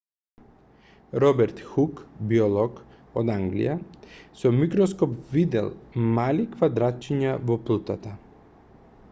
роберт хук биолог од англија со микроскоп видел мали квадратчиња во плутата